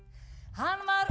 hann var